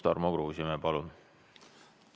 Tarmo Kruusimäe, palun!